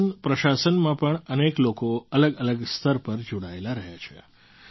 શાસનપ્રશાસનમાં પણ અનેક લોકો અલગઅલગ સ્તર પર જોડાયેલા રહ્યા છે